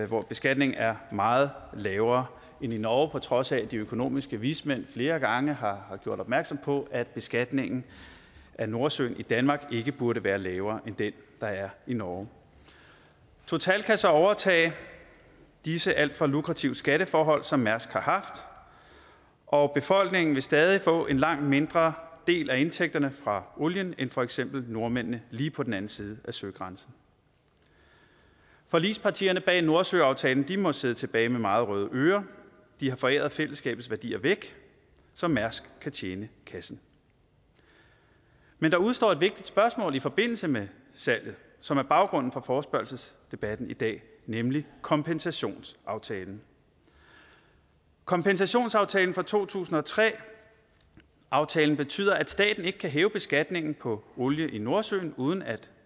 hvor beskatningen er meget lavere end i norge på trods af at de økonomiske vismænd flere gange har gjort opmærksom på at beskatningen af nordsøolien i danmark ikke burde være lavere end den der er i norge total kan så overtage disse alt for lukrative skatteforhold som mærsk har haft og befolkningen vil stadig få en langt mindre del af indtægterne fra olien end for eksempel nordmændene lige på den anden side af søgrænsen forligspartierne bag nordsøaftalen må sidde tilbage med meget røde ører de har foræret fællesskabets værdier væk så mærsk kan tjene kassen men der udestår et vigtigt spørgsmål i forbindelse med salget som er baggrunden for forespørgselsdebatten i dag nemlig kompensationsaftalen kompensationsaftalen fra to tusind og tre aftalen betyder at staten ikke kan hæve beskatningen på olie i nordsøen uden at